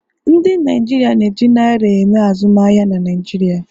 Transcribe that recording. Ndi Naijiria na-eji naira eme azụmahịa na Naịjirịa